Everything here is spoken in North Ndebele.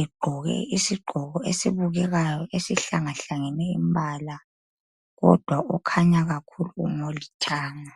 egqoke isigqoko esibukekayo esihlangahlangane imbala kodwa okhanya kakhulu ngolithanga.